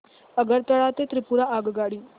आगरतळा ते त्रिपुरा आगगाडी